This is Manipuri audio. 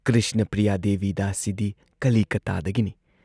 ꯀ꯭ꯔꯤꯁꯅ ꯄ꯭ꯔꯤꯌꯥ ꯗꯦꯕꯤ ꯗꯥꯁꯤꯗꯤ ꯀꯂꯤꯀꯇꯥꯗꯒꯤꯅꯤ ꯫